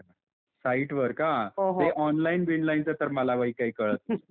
अच्छा अच्छा साईट वर का? ते ऑनलाईन बिनलाईनचा तर मला बाई काही कळत नाही .